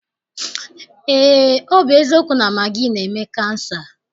Eé, ọ bụ eziokwu na magị na-eme kansa.